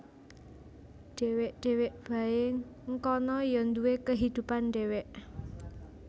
Dewek dewek Bae ngkana Ya Duwe kehidupan Dewek